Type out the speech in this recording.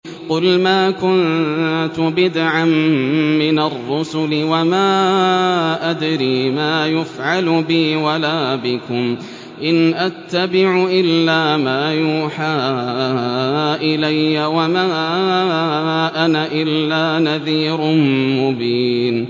قُلْ مَا كُنتُ بِدْعًا مِّنَ الرُّسُلِ وَمَا أَدْرِي مَا يُفْعَلُ بِي وَلَا بِكُمْ ۖ إِنْ أَتَّبِعُ إِلَّا مَا يُوحَىٰ إِلَيَّ وَمَا أَنَا إِلَّا نَذِيرٌ مُّبِينٌ